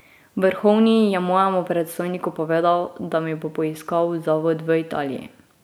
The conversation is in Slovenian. Vrhovni je mojemu predstojniku povedal, da mi bo poiskal zavod v Italiji.